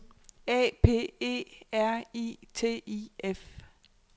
A P E R I T I F